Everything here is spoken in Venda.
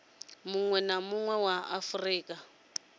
munwe na munwe wa afurika